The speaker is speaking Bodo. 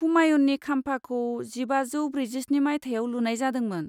हुमायुननि खाम्फाखौ जिबाजौ ब्रैजिस्नि मायथाइयाव लुनाय जादोंमोन।